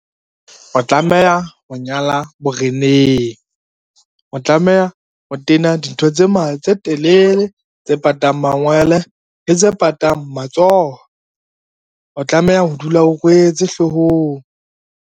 O tlameha ho nyala boreneng, o tlameha o tena dintho tse telele tse patang mangwele le tse patang matsoho, o tlameha ho dula o rwetse hloohong.